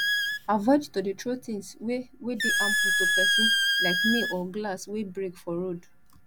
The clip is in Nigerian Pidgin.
avoid to de throw things wey wey de harmful to persin like nail or glass wey break for road